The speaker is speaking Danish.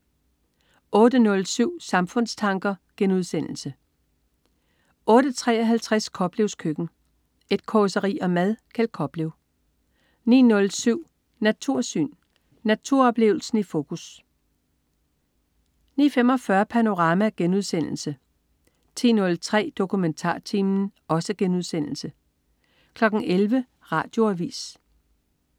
08.07 Samfundstanker* 08.53 Koplevs Køkken. Et causeri om mad. Kjeld Koplev 09.07 Natursyn. Naturoplevelsen i fokus 09.45 Panorama* 10.03 DokumentarTimen* 11.00 Radioavis